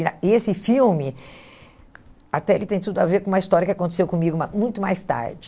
E na e esse filme, até ele tem tudo a ver com uma história que aconteceu comigo mas muito mais tarde.